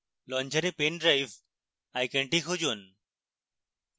launcher pen drive আইকনটি খুঁজুন